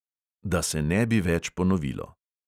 Da se ne bi več ponovilo!